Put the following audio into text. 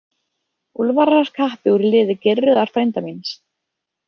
Úlfar var kappi úr liði Geirröðar frænda míns.